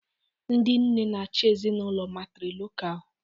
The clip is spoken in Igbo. Ndị nne na-achị ezinụlọ matrilocal